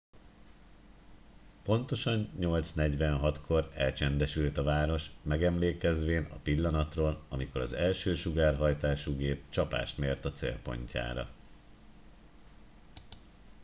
pontosan 8 46 kor elcsendesült a város megemlékezvén a pillanatról amikor az első sugárhajtású gép csapást mért a célpontjára